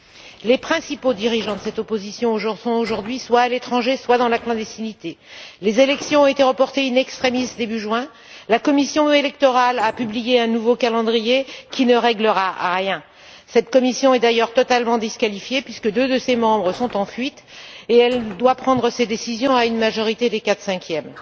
Aujourd'hui, les principaux dirigeants de l'opposition sont soit à l'étranger, soit dans la clandestinité. Les élections ont été reportées in extremis début juin. La commission électorale a publié un nouveau calendrier qui ne réglera rien. Cette commission est d'ailleurs totalement disqualifiée puisque deux de ses membres sont en fuite et qu'elle doit prendre ses décisions à une majorité des quatre cinquièmes.